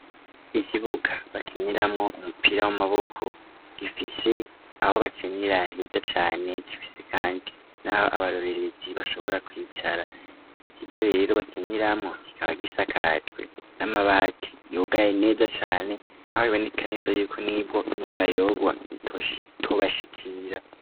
Ikibuga bakinyiramwo umupira w'amaboko gifise aho bakinira heza cane gifise, kandi, naho abarorerezi bashobora kwicara ico kigorero bakinyiramwo kikaba gisakajwe n'amabati yugaye neza cane aho bibonekaniza yuko n'ibwo imvura yogwa tosh itobashe ikira.